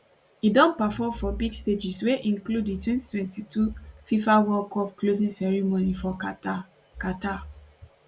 e don perform for big stages wey include di 2022 fifa world cup closing ceremony for qatar qatar